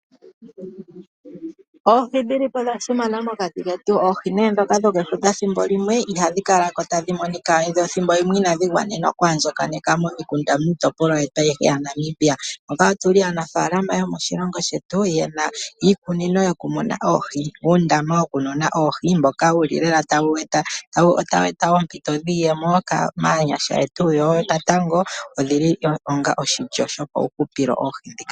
Oohi odha simana mokati ketu. Oohi ndhoka dhokefuta ethimbo limwe ihadhi kala ko tadhi monika. Ethimbo limwe ihadhi kala dha gwana oku andjakaneka momikunda miitopolwa yetu ayihe yaNamibia. Otu li aanaafaalama yomoshilongo shetu ye na iikunino yokumuna oohi, uundama wokumuna oohi, mboka wu li lela tawu eta oompito dhiiyemo maanyasha yetu yo natango odhi li onga onzo yomahupilo.